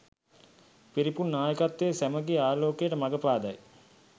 පිරිපුන් නායකත්වය සැමගේ ආලෝකයට මග පාදයි